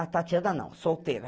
A Tatiana não, solteira.